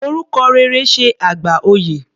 Orúkọ rere ṣe àgbà oyè.